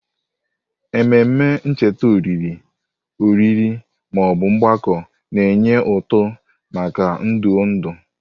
Ememe ncheta olili, oriri, ma ọ bụ mgbakọ na-enye ụtụ maka ndụ ndụ.